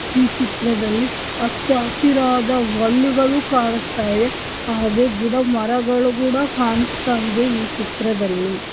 ಈ ಚಿತ್ರದಲ್ಲಿ ಹಚ್ಚ ಹಸಿರಾದ ವಲ್ಲಿಗಳು ಕಾಣಿಸ್ತದೆ ಹಾಗೆ ಗಿಡ ಮರಗಳು ಕೂಡ ಕಾಣಿಸ್ತ ಇದೆ ಈ ಚಿತ್ರದಲ್ಲಿ .